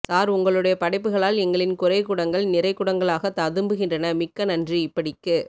sir உங்களுடைய படைப்புகளால் எங்களின் குறை குடங்கள் நிறை குடங்களாக ததும்புகின்றன மிக்க நன்றி இப்படிக்கு